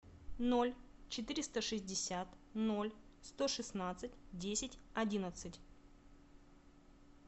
ноль четыреста шестьдесят ноль сто шестнадцать десять одиннадцать